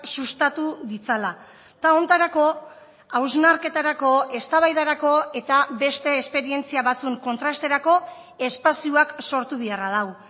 sustatu ditzala eta honetarako hausnarketarako eztabaidarako eta beste esperientzia batzun kontrasterako espazioak sortu beharra dago